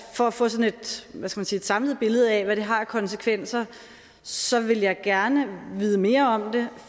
at for at få sådan et samlet billede af hvad det har af konsekvenser så vil jeg gerne vide mere om det